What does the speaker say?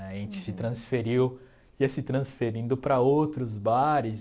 Né a gente se transferiu ia se transferindo para outros bares.